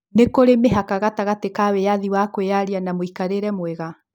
Nĩ kũri na mĩhaka gatagatĩ ka wiyathi wa kwiyaria na mũikarĩte mwega?